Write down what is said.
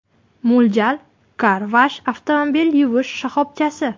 Mo‘ljal Car Wash avtomobil yuvish shoxobchasi.